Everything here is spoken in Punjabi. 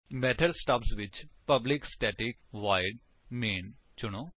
ਮੇਥਡ ਸਟੱਬਜ਼ ਵਿੱਚ ਪਬਲਿਕ ਸਟੈਟਿਕ ਵੋਇਡ ਮੈਨ ਚੁਣੋ